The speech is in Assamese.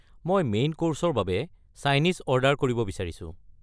মই মেইন কৰ্ছৰ বাবে চাইনিজ অৰ্ডাৰ কৰিব বিচাৰিছোঁ।